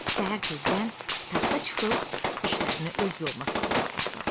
Səhər tezdən taxta çıxıb işlərini öz yoluna salmağa başladı.